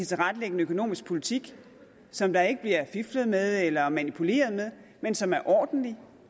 tilrettelægge en økonomisk politik som der ikke bliver fiflet med eller manipuleret med men som er ordentlig